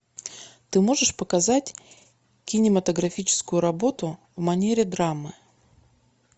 ты можешь показать кинематографическую работу в манере драмы